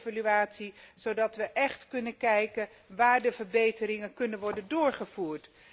Een brede evaluatie dus, zodat we kunnen kijken waar de verbeteringen kunnen worden doorgevoerd.